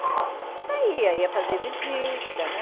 Saía, ia fazer visita, né?